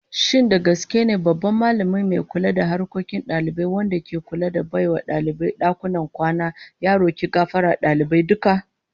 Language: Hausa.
Shin da gaske ne babban Mallami mai kula da harkokin dalibai wanda ke kula da bai wa dalibai dakunan kwana, ya roki gafarar dalibai duka?